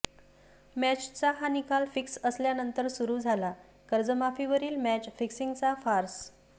मॅचचा हा निकाल फिक्स असल्यानंतर सुरू झाला कर्जमाफीवरील मॅच फिक्सिंगचा फार्स